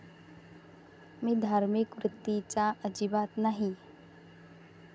मी धार्मिक वृत्तीचा अजिबात नाही.